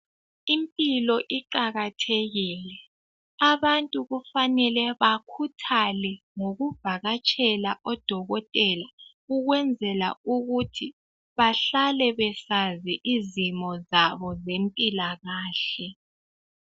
Impilo iqakathekile, abantu kufanele bakhuthale ngokuvakatshela odokotela ukwenzela ukuthi bahlale besazi izimo zabo zempilakahle.